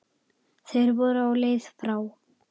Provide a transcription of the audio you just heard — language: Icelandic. Þeir voru á leið frá